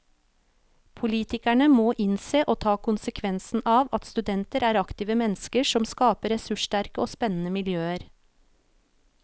Politikerne må innse og ta konsekvensen av at studenter er aktive mennesker som skaper ressurssterke og spennende miljøer.